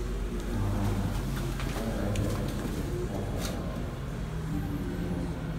Jo ohala dwarore notudre maber gi jonyiewo.